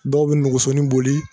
Dɔw be negesonin boli